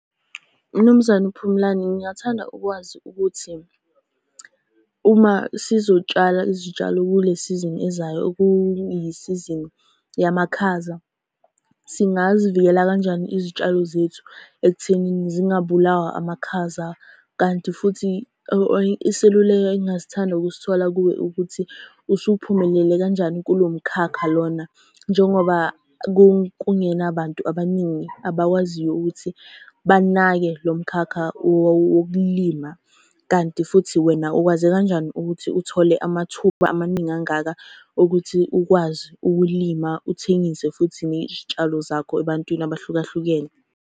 Mnumzane uPhumlane, ngingathanda ukwazi ukuthi, uma sizotshala izitshalo kule sizini ezayo okuyisizini yamakhaza, singazivikela kanjani izitshalo zethu ekuthenini zingabulawa amakhaza? Kanti futhi iseluleko engingasithanda ukusithola kuwe ukuthi usuphumelele kanjani kulo mkhakha lona, njengoba kungenabantu abaningi abakwaziyo ukuthi banake lo mkhakha wokulima? Kanti futhi wena ukwaze kanjani ukuthi uthole amathuba amaningi angaka okuthi ukwazi ukulima uthengise futhi nezitshalo zakho ebantwini abahlukahlukene?